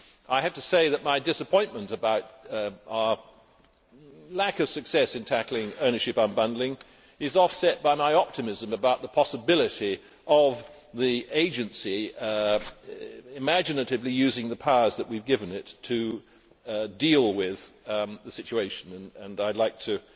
I have to say that my disappointment about our lack of success in tackling ownership unbundling is offset by my optimism about the possibility of the Agency imaginatively using the powers that we have given it to deal with the situation, and I would like to